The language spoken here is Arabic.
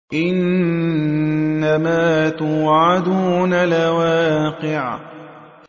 إِنَّمَا تُوعَدُونَ لَوَاقِعٌ